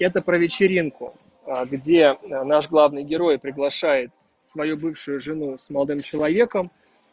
это про вечеринку где наш главный герой приглашает свою бывшую жену с молодым человеком